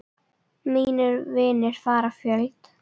Mínir vinir fara fjöld.